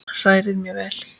Hrærið mjög vel.